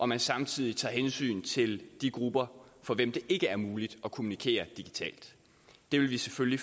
man samtidig tager hensyn til de grupper for hvem det ikke er muligt at kommunikere digitalt det vil vi selvfølgelig